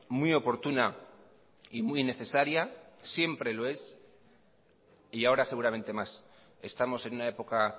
muy oportuna y muy necesaria siempre lo es y ahora seguramente más estamos en una época